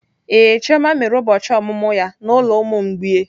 Ee, chioma mere ụbọchị ọmụmụ ya na ụlọ ụmụ mgbei.